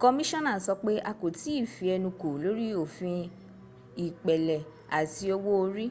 kọmíṣánà sọ pé a kò ì tí ì fi ẹnu kò lórí òfin ìpẹ̀lẹ̀ àti owó orí